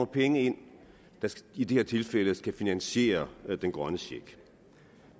penge ind der i det her tilfælde skal finansiere den grønne check